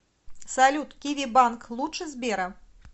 салют киви банк лучше сбера